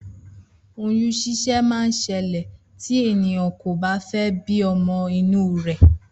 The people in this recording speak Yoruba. Oyún ṣíṣẹ́ ma ṣẹlẹ̀ tí ènìyàn kò bá fé bí ọmọ inú rè